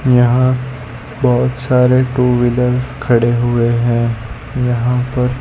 यहां बहोत सारे टू वीलर खड़े हुए हैं यहाँ पर--